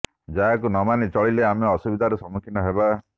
ଯାହାକୁ ନ ମାନି ଚଳିଲେ ଆମେ ଅସୁବିଧାର ସମ୍ମୁଖୀନ ହେବା